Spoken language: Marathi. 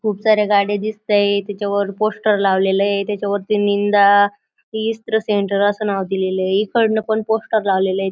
खूप साऱ्या गाड्या दिसतायत. त्याच्यावर पोस्टर लावलेले आहे. त्याच्यावरती निंदा सेंटर असं नाव दिलेलं आहे. इकडंन पण पोस्टर लावलेल हेत.